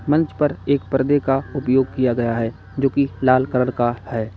मंच पर एक पर्दे का उपयोग किया गया है जोकि लाल कलर का है।